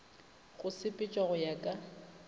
go sepetšwa go ya ka